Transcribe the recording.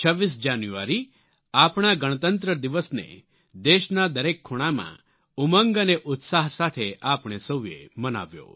26 જાન્યુઆરી આપણા ગણતંત્ર દિવસને દેશના દરેક ખૂણામાં ઉમંગ અને ઉત્સાહ સાથે આપણે સૌએ મનાવ્યો